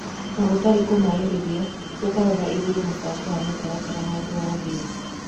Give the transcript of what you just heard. Na gũtarĩ kũmaĩrĩria ũkarora ũkarora igũrũ mũbango wa mĩtaratara handũ wa thĩ."